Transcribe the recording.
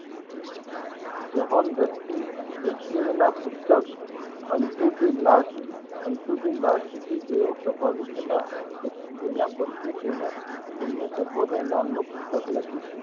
વહન વ્યક્તિ વ્યક્તિ ના પુસ્તક અંટુ ઘી લાસ્ટ અંટુ ઘી લાસ્ટ થી તેઓ પ્રભાવિત હતા તો તેના પરથી તેને તેમને સર્વોધ્ધ નામનું પુસ્તક લખ્યું.